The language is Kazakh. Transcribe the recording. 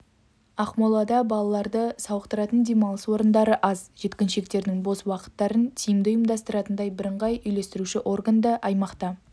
ақмолада балаларды сауықтыратын демалыс орындары аз жеткіншектердің бос уақыттарын тиімді ұйымдастыратындай бірыңғай үйлестіруші орган да аймақта